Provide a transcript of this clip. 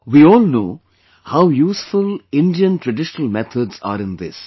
We all know how useful Indian traditional methods are in this